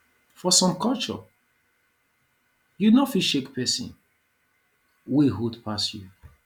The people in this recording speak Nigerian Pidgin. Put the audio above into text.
for some culture you no fit shake person wey old pass you